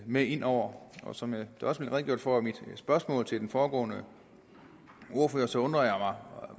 med ind over og som der også blev redegjort for i mit spørgsmål til den foregående ordfører så undrer